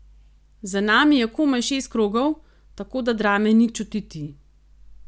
Za nami je komaj šest krogov, tako da drame ni čutiti.